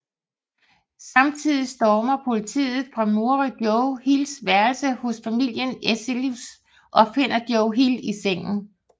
Samtidigt stormer politiet fra Murray Joe Hills værelse hos familien Eselius og finder Joe Hill i sengen